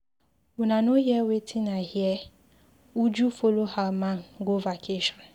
Una no hear wetin I hear, Uju follow her man go vacation